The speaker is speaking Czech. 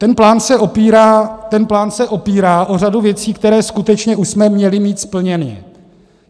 Ten plán se opírá o řadu věcí, které skutečně už jsme měli mít splněny.